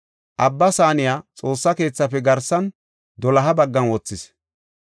Abba Saaniya Xoossa keethafe garsan doloha baggan wothis.